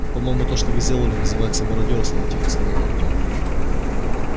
по-моему то что вы сделали называется мародёрством тихо сказал артём